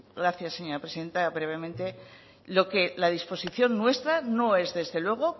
gracias señora presidenta brevemente lo que la disposición muestra no es desde luego